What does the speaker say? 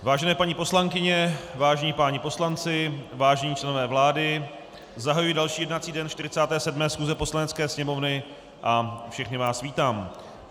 Vážené paní poslankyně, vážení páni poslanci, vážení členové vlády, zahajuji další jednací den 47. schůze Poslanecké sněmovny a všechny vás vítám.